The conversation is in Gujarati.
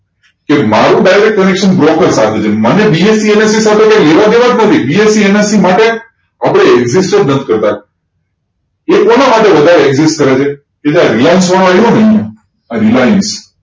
કે મારુ direct connection broker સાથે છે મને BSENSE સાથે કોઈ લેવા દેવાજ નથી BSENSE માટે આપડે exist જ નથી કરતા એ કોના માટે વધારે exist કરે છે સીધા reliance નામ reliance